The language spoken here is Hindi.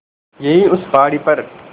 यहीं उस पहाड़ी पर